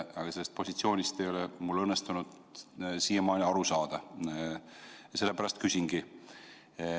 Aga sellest positsioonist ei ole mul õnnestunud siiamaani aru saada, sellepärast küsingi.